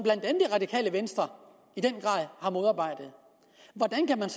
radikale venstre i den grad har modarbejdet hvordan kan man